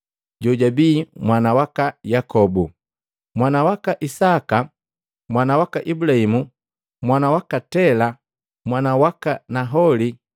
jojabi mwana waka Yakobu, mwana waka Isaka, mwana waka Ibulahimu, mwana waka Tela, mwana waka Naholi,